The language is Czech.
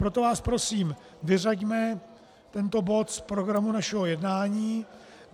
Proto vás prosím, vyřaďme tento bod z programu našeho jednání.